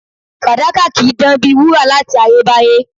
Fàdákà kì í dán bíi wúrà láti ayébáyé